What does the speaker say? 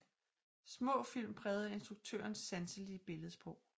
Små film præget af instruktørens sanselige billedsprog